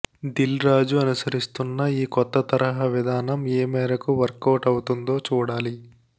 దిల్ రాజు అనుసరిస్తున్న ఈ కొత్త తరహా విధానం ఏ మేరకు వర్కవుట్ అవుతుందో చూడాలి